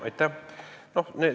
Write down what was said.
Aitäh!